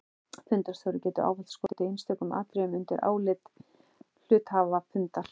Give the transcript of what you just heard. Fundarstjóri getur ávallt skotið einstökum atriðum undir álit hluthafafundar.